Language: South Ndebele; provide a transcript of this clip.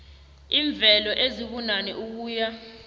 iimveke ezibunane ukuya